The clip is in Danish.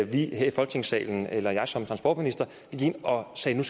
vi her i folketingssalen eller jeg som transportminister gik ind og sagde at